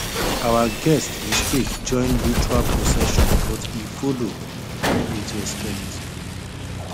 our guest mistake join ritual procession but e follow with respect